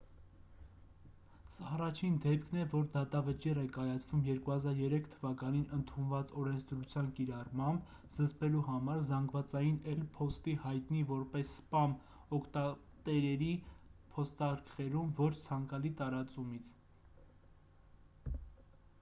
սա առաջին դեպքն է որ դատավճիռ է կայացվում 2003 թ.-ին ընդունված օրենսդրության կիրառմամբ՝ զսպելու համար զանգվածային էլ. փոստի հայտնի որպես «սպամ» օգտատերերի փոստարկղերում ոչ ցանկալի տարածումից։